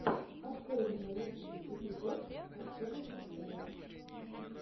открой мне лучший эпизод артема пучкова